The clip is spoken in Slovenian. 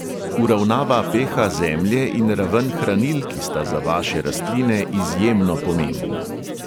Uravnava pe|ha zemlje in raven hranil, ki sta za vaše rastline izjemno pomembna.